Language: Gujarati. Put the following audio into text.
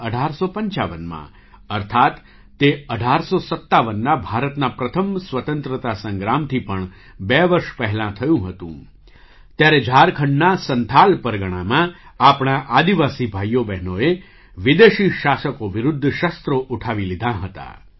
૧૮૫૫માં અર્થાત તે ૧૮૫૭ના ભારતના પ્રથમ સ્વતંત્રતા સંગ્રામથી પણ બે વર્ષ પહેલાં થયું હતું ત્યારે ઝારખંડના સંથાલ પરગણામાં આપણા આદિવાસી ભાઈઓ બહેનોએ વિદેશી શાસકો વિરુદ્ધ શસ્ત્રો ઉઠાવી લીધાં હતાં